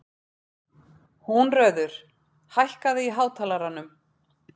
Húnröður, hækkaðu í hátalaranum.